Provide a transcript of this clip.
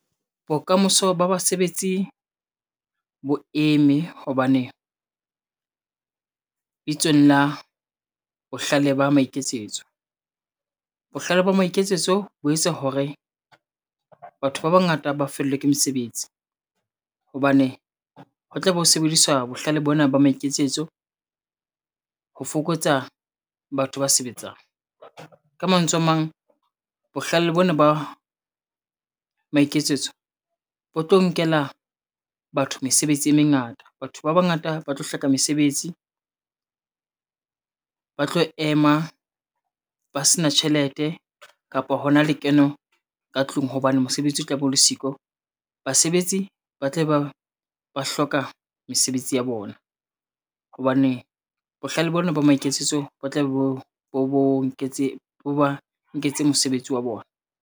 Bokamoso ba basebetsi bo eme hobane, bitsong la bohlale ba maiketsetso. Bohlale ba maiketsetso bo etsa hore, batho ba bangata ba fellwa ke mesebetsi hobane, ho tlabe ho sebedisa bohlale bona ba maiketsetso ho fokotsa batho ba sebetsang. Ka mantswe a mang, bohlale bona ba maiketsetso bo tlo nkela batho mesebetsi e mengata. Batho ba bangata ba tlo hloka mesebetsi, ba tlo ema ba se na tjhelete kapo hona lekeno ka tlung hobane mosebetsi o tla be o le siko. Basebetsi ba tle ba hloka mesebetsi ya bona hobane bohlale bona ba maiketsetso bo tla be bo ba nketse mosebetsi wa bona.